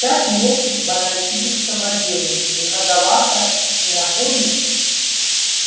пять лет в аналитическом отделе многовато не находишь